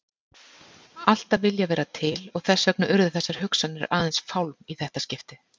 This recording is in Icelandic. Alltaf viljað vera til og þess vegna urðu þessar hugsanir aðeins fálm í þetta skiptið.